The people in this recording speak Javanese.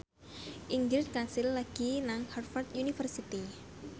Ingrid Kansil lagi sekolah nang Harvard university